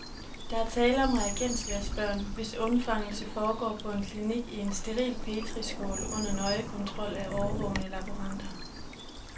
Der er tale om reagensglasbørn, hvis undfangelse foregår på en klinik i en steril petriskål under nøje kontrol af årvågne laboranter.